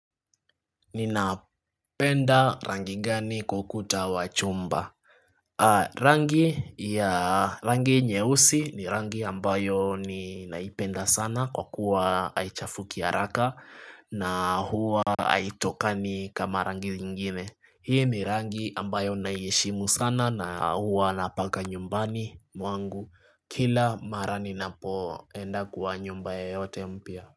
Ninapenda rangi gani kwa ukuta wa chumba rangi nyeusi ni rangi ambayo ninaipenda sana kwa kuwa haichafuki haraka na huwa haitoki kama rangi ingine Hii ni rangi ambayo naiheshimu sana na huwa napaka nyumbani mwangu kila mara ninapoenda kwa nyumba yeyote mpya.